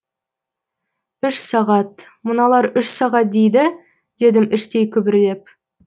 үш сағат мыналар үш сағат дейді дедім іштей күбірлеп